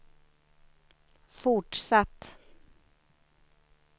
fortsatt